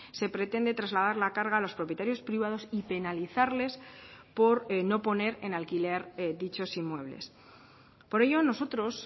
se pretende trasladar la carga a los propietarios privados y penalizarles por no poner en alquiler dichos inmuebles por ello nosotros